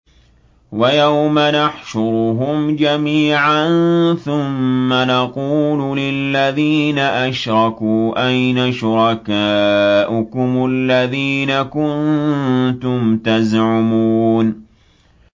وَيَوْمَ نَحْشُرُهُمْ جَمِيعًا ثُمَّ نَقُولُ لِلَّذِينَ أَشْرَكُوا أَيْنَ شُرَكَاؤُكُمُ الَّذِينَ كُنتُمْ تَزْعُمُونَ